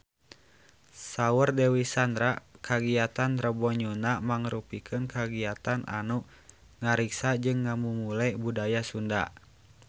Saur Dewi Sandra kagiatan Rebo Nyunda mangrupikeun kagiatan anu ngariksa jeung ngamumule budaya Sunda